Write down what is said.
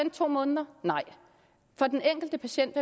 i to måneder nej den enkelte patient